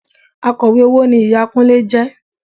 Akọ̀wé owó ni ìyá Kúnlé jẹ